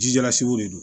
Jijala sugu de don